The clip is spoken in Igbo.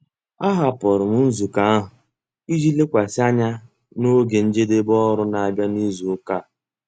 Ahapụrụ m nzukọ ahụ iji lekwasị anya na oge njedebe ọrụ na-abịa n'izu ụka a.